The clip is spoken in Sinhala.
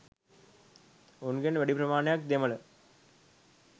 උන්ගෙන් වැඩි ප්‍රමාණයක් දෙමළ.